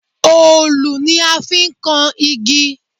Òòlù ni a fi n kan igi